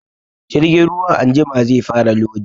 Jirgin ruwan anjima zai fara lodi